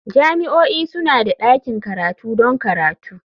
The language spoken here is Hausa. Jami'o'i suna da ɗakin karatu don karatu.